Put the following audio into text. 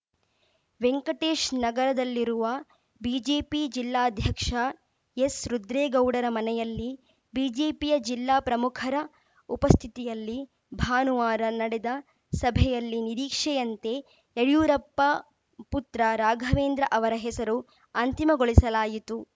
ವೆಂಕಟೇಶ್‌ ನಗರದಲ್ಲಿರುವ ಬಿಜೆಪಿ ಜಿಲ್ಲಾದ್ಯಕ್ಷ ಎಸ್‌ರುದ್ರೇಗೌಡರ ಮನೆಯಲ್ಲಿ ಬಿಜೆಪಿಯ ಜಿಲ್ಲಾ ಪ್ರಮುಖರ ಉಪಸ್ಥಿತಿಯಲ್ಲಿ ಭಾನುವಾರ ನಡೆದ ಸಭೆಯಲ್ಲಿ ನಿರೀಕ್ಷೆಯಂತೆ ಯಡಿಯೂರಪ್ಪ ಪುತ್ರ ರಾಘವೇಂದ್ರ ಅವರ ಹೆಸರು ಅಂತಿಮಗೊಳಿಸಲಾಯಿತು